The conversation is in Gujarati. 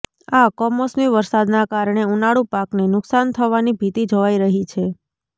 આ કમોસમી વરસાદના કારણે ઉનાળુ પાકને નુકશાન થવાની ભીતિ જોવાઈ રહી છે